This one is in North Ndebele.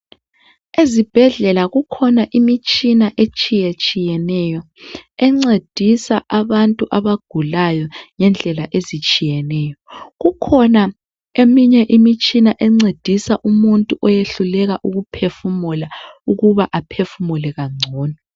Ezibhedlela kukhona imitshina etshiyetshiyeneyo encedisa abantu abagulayo ngendlela ezitshiyeneyo kukhona eminye imitshina encedisa umuntu oyehluleka ukuphefumula ukuba aphefumule kangcono.